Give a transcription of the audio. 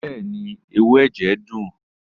Bẹẹni, ẹwu ẹjẹ dun.